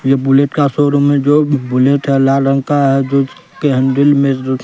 यह बुलेट का शोरूम है जो बुलेट है लाल रंग का है जो कि हैंडल में--